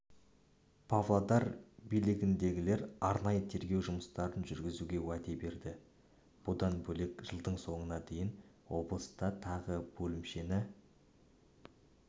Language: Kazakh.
павлодар билігіндегілер арнайы тергеу жұмыстарын жүргізуге уәде берді бұдан бөлек жылдың соңына дейін облыста тағы бөлімшені